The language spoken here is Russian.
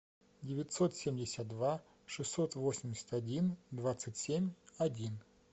девятьсот семьдесят два шестьсот восемьдесят один двадцать семь один